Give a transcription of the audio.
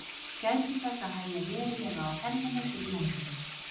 Gætið þess að hægja verulega á ferðinni fyrir lendingu.